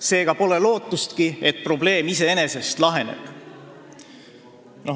Seega pole lootustki, et probleem iseenesest laheneb.